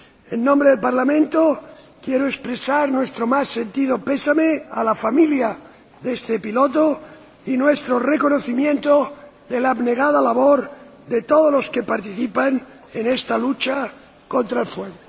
En nombre del Parlamento Europeo, quiero expresar nuestro más sentido pésame a la familia de este piloto y nuestro reconocimiento de la abnegada labor de todos los que participan en esta lucha contra el fuego.